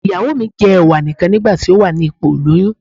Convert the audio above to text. Ìyàwó mi jẹ́ Ẹ̀wà nì kan ní ìgbà tó wà ní ipò ìlóyún.